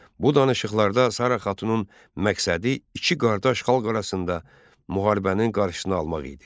Bu danışıqlarda Sara Xatunun məqsədi iki qardaş xalq arasında müharibənin qarşısını almaq idi.